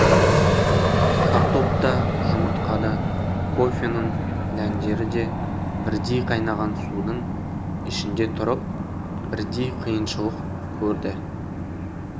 картоп та жұмыртқа да кофенің дәндері де бірдей қайнаған судың ішінде тұрып бірдей қиыншылық көрді